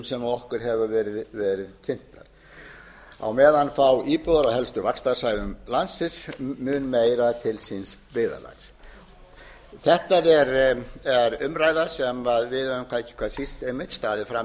sem okkur hefur verið kynntar á meðan fá íbúðir af helstu vaxtarsvæðum landsins mun meira til síns byggðarlags þetta er umræða sem við höfum ekki hvað síst einmitt staðið frammi fyrir núna á þessu ári ríkisstjórnin hefur átt